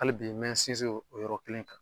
Hali bi me in sinzin o yɔrɔ kelen kan.